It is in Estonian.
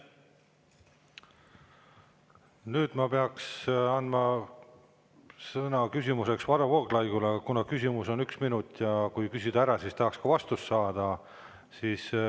Nüüd ma peaks küsimiseks sõna andma Varro Vooglaiule, aga küsimus on üks minut ja kui küsida ära, siis tahaks ka vastust saada.